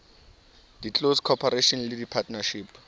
di close corporation di partnership